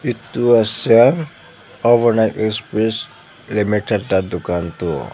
etu ase overnite express limited la dukan toh.